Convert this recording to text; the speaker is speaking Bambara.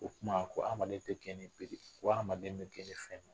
O kuma ko adamaden tɛ gɛn ni bere ye, ko adamaden be gɛn ni fɛn